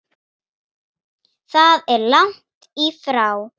Það er langt í frá.